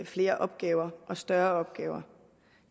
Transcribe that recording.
flere opgaver og større opgaver